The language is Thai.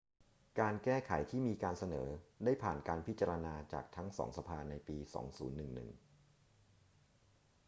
การแก้ไขที่มีการเสนอได้ผ่านการพิจารณาจากทั้งสองสภาในปี 2011